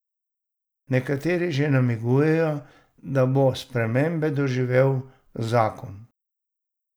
Nekateri že namigujejo, da bo spremembe doživel zakon.